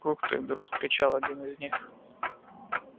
ух ты вдруг вскричал один из них